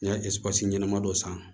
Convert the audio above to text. N'i ye ɲɛnama dɔ san